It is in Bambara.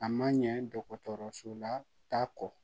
A ma ɲɛ dɔgɔtɔrɔso la taa kɔ